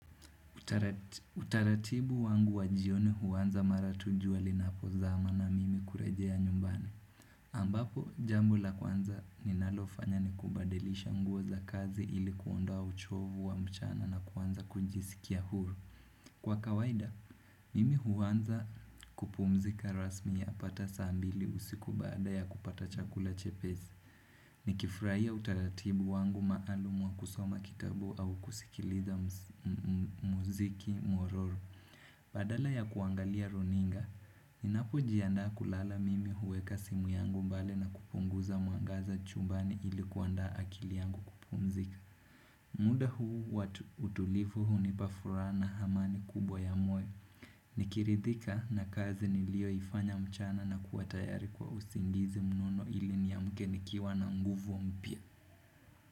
Utaratibu wangu wa jione huanza mara tuj ua linapozama na mimi kurejea nyumbani ambapo jambo la kwanza ninalofanya ni kubadilisha nguo za kazi ili kuondoa uchovu wa mchana na kuanza kujisikia huru Kwa kawaida, mimi huanza kupumzika rasmi yapata saa mbili usiku baada ya kupata chakula chepesi Nikifuraia utaratibu wangu maalumu wa kusoma kitabu au kusikiliza muziki mororu Badala ya kuangalia runinga Ninapojiandaa kulala mimi huweka simu yangu mbali na kupunguza mwangaza chumbani ili kuandaa akili yangu kupumzika muda huu huwatulivu hunipa furaha na hamani kubwa ya moyo Nikiridhika na kazi nilioifanya mchana na kuwatayari kwa usingizi mnono ili niamke nikiwa na nguvu mpya.